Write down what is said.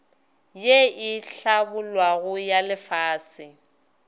ye e hlabollwago ya lefase